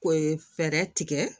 Ko ye fɛɛrɛ tigɛ